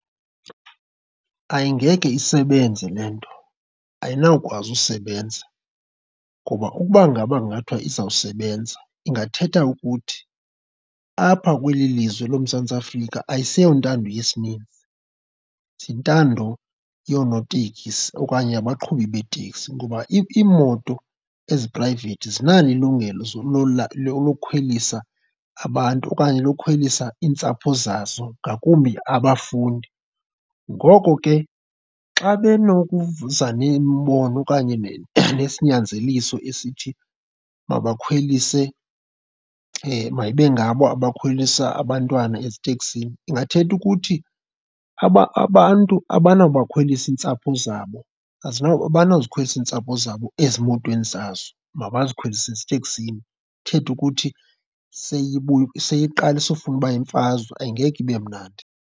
Ayingeke isebenze le nto, ayinawukwazi usebenza ngoba ukuba ngaba kungathiwa izawusebenza ingathetha ukuthi apha kweli lizwe loMzantsi Afrika ayisentando yesininzi, yintando yoonotekisi okanye abaqhubi beeteksi ngoba iimoto eziphrayivethi zinalo ilungelo lokhwelisa abantu okanye lokhwelisa iintsapho zazo, ngakumbi abafundi. Ngoko ke xa benokuza nemibono okanye nesinyanzeliso esithi bakakhwelise mayibe ngabo abakhwelisa abantwana eziteksini, ingathetha ukuthi abantu abanabakhwelisa iintsapho zabo, abanozikhwelisa iintsapho zabo ezimotweni zazo mabazikhwelise eziteksini. Ithetha ukuthi seyibuya seyiqalisa ufune uba imfazwe, angeke ibe mnandi.